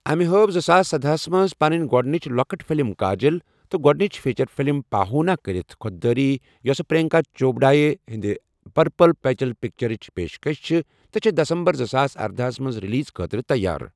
أمہِ ہٲو زٕ ساس سَداہَس منٛز پنٛن گۄڈنِچ لۄکٕٹ فِلم کاجلٕ تہٕ گوڈنِچ فیچر فِلم پاہٗونا كرِتھ خود دٲری یوسہٕ پر٘ینكا چوپڈایہ ہندِ پرپل پیبل پِكچرچ پیشكش چھِ تہٕ چھےٚ دسمبر زٕ ساس ارداَہس منٛز رِلیٖز خٲطرٕ تیار۔